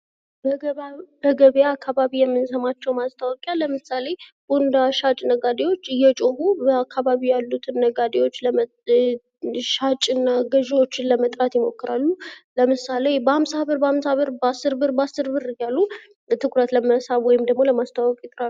በገበያ አካባቢ የምንሰማቸው ማስታወቂያ ለምሳሌ ቦንዳ ሻጭ ነጋዴዎች እየጮኹ በአካባቢያቸው ያሉትን ነጋዴዎች ሻጭና ገዥዎችን ለመጥራት ይሞክራሉ። ለምሳሌ፦ በአምሳ ብር በአምሳ ብር፤ በአስር ብር በአስር ብር እያሉ ትኩረት ለመሳብ ወይም ደግሞ ለማስተዋወቅ ይጥራሉ።